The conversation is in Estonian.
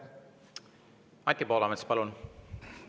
Anti Poolamets, palun!